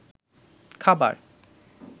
খাবার